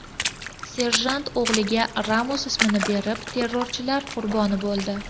Serjant o‘g‘liga Ramos ismini berib, terrorchilar qurboni bo‘ldi.